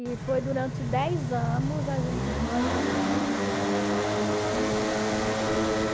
E foi durante dez anos a gente nós vivemos numa numa felicidade muito grande.